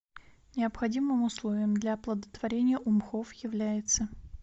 необходимым условием для оплодотворения у мхов является